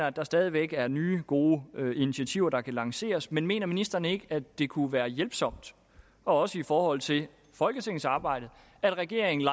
at der stadig væk er nye gode initiativer der kan lanceres men mener ministeren ikke at det kunne være hjælpsomt også i forhold til folketingets arbejde at regeringen